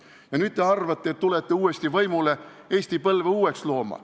Ja nüüd te arvate, et tulete uuesti võimule Eesti põlve uueks looma.